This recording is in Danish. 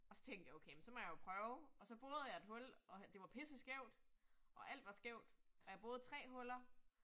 Og så tænkte jeg okay, men så må jeg jo prøve, og så borede jeg et hul, og det var pisseskævt og alt var skævt, og jeg borede 3 huller